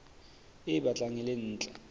e batlang e le ntle